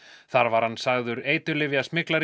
þar var hann sagður